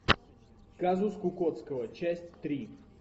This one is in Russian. казус кукоцкого часть три